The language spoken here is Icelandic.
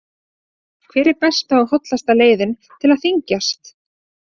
Hver er besta og hollasta leiðin til að þyngjast?